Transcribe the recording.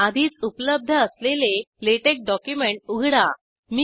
आधीच उपलब्ध असलेले लॅटेक्स डॉक्युमेंट उघडा